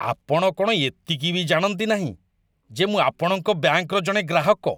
ଆପଣ କ'ଣ ଏତିକି ବି ଜାଣନ୍ତି ନାହିଁ ଯେ ମୁଁ ଆପଣଙ୍କ ବ୍ୟାଙ୍କ'ର ଜଣେ ଗ୍ରାହକ?